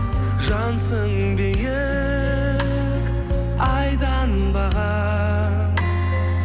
жансың биік айдан бағаң